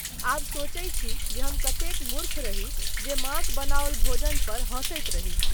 आब सोचै छी जे हम कतेक मूर्ख रही जे माँक बनाओल भोजन पर हँसैत रही।